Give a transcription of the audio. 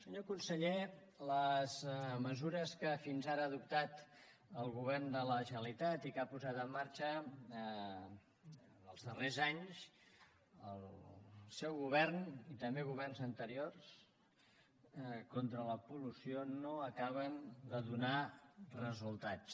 senyor conseller les mesures que fins ara ha adoptat el govern de la generalitat i que ha posat en marxa en els darrers anys el seu govern i també governs anteriors contra la pol·lució no acaben de donar resultats